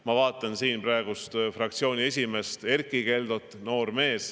Ma vaatan siin praegust fraktsiooni esimeest Erkki Keldot, kes on noor mees.